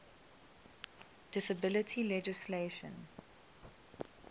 disability legislation